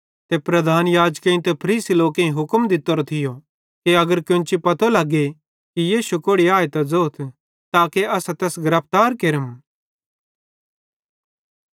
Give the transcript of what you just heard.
ते प्रधान याजकेईं ते फरीसी लोकेईं हुक्म दित्तोरो थियो कि अगर केन्ची पतो लगे कि यीशु कोड़ि आए त ज़ोथ दे ताके असां तैस गिरफ्तार केरम